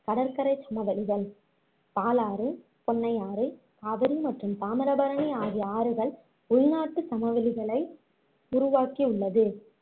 கடற்கரை சமவெளிகள், பாலாறு, பொண்ணையாறு, காவிரி மற்றும் தாமிரபரணி ஆகிய ஆறுகள் உள்நாட்டு சமவெளிகளை உருவாக்கியுள்ளது